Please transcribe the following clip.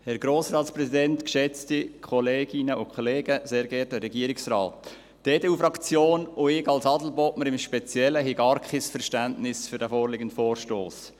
Die EDU-Fraktion und ich speziell als Adelbodner haben gar kein Verständnis für den vorliegenden Vorstoss.